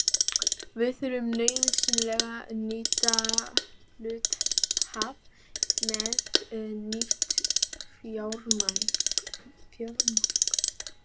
Við þurftum nauðsynlega nýja hluthafa með nýtt fjármagn.